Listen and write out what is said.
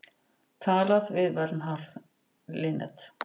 Talað við Vernharð Linnet.